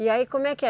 E aí como é que é?